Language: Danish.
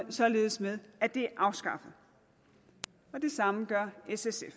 således med at det er afskaffet og det samme gør s sf